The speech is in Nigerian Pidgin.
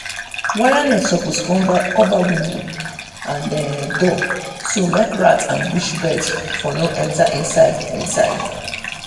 wire net suppose cover window and um door so um make rats and bush birds um for no enter inside. inside.